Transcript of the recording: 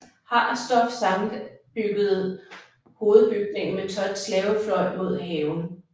Harsdorff sammenbyggede hovedbygningen med Thotts lave fløj mod haven